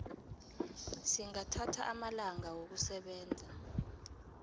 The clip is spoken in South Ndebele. singathatha amalanga wokusebenza